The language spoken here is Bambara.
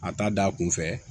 A ta da kun fɛ